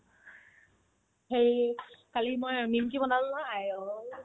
সেই কালি মই নিমকি বনালো নহয় আইঐ